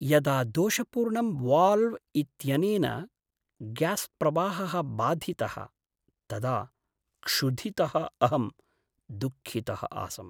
यदा दोषपूर्णं वाल्व् इत्यनेन ग्यास्प्रवाहः बाधितः, तदा क्षुधितः अहं दुःखितः आसम्।